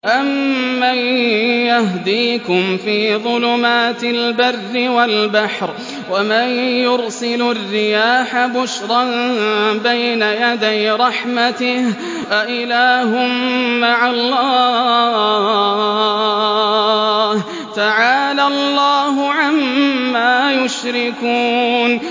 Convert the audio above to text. أَمَّن يَهْدِيكُمْ فِي ظُلُمَاتِ الْبَرِّ وَالْبَحْرِ وَمَن يُرْسِلُ الرِّيَاحَ بُشْرًا بَيْنَ يَدَيْ رَحْمَتِهِ ۗ أَإِلَٰهٌ مَّعَ اللَّهِ ۚ تَعَالَى اللَّهُ عَمَّا يُشْرِكُونَ